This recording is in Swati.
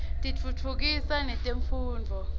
tiftutfukisa netemfundvo